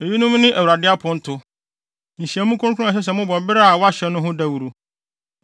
“ ‘Eyinom ne Awurade aponto, nhyiamu kronkron a ɛsɛ sɛ mobɔ bere a wɔahyɛ no ho dawuru: